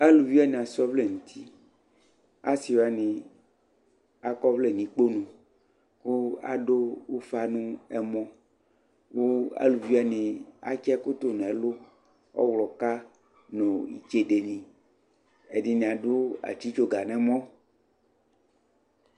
alʋvi wani asɔ ɔvlɛ nʋti, asii wani akɔ ɔvlɛ nʋ ikpɔnʋ kʋ adʋ ʋƒa nʋ ɛmɔ kʋ alʋvi wani atsi ɛkʋ tʋnʋ ɛlʋ, ɔwlɔka nʋ itsɛdɛ ni, ɛdini adʋ atsitsɔga nʋ ɛmɔ